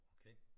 Okay